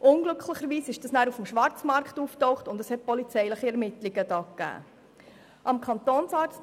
Unglücklicherweise tauchte es dann auf dem Schwarzmarkt auf, und schliesslich wurden polizeiliche Ermittlungen durchgeführt.